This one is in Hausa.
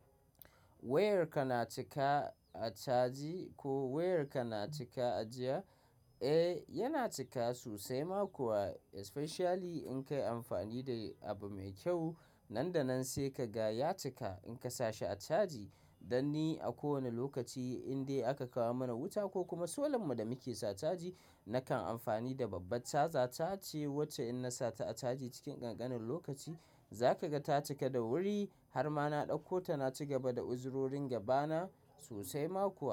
Wayarka na cika a caji ko wayarka na cika a jiya? Eh yana cika sosai ma kuwa especially in ka yi amfani da abu mai kyau. Nan da nan sai ka ga ya cika in ka sa shi a caji. Dan ni a kowane lokaci indai aka kawo mana wuta ko kuma solan mu da muke sa caji nakan amfani da babbar caza ta ce wacce in na sa ta a caji cikin ƙanƙanin lokaci za ka ga ta cika da wuri har ma na ɗauko ta na ci gaba da uzurorin gaba na sosai ma kuwa.